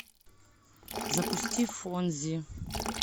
запусти фонзи